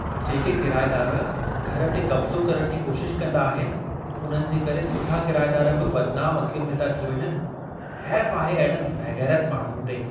जेके किराएदार घर ते क़ब्ज़ो करण जी कोशिशि कंदा आहिनि उन्हनि जे करे सुठा किराएदार बि बदनाम अखियुनि में था थी वञनि। हैफ़ आहे अहिड़नि बेग़ैरत माण्हुनि ते!